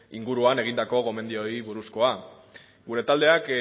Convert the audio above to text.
inguruan egindako gomendioei buruzkoa gure taldeak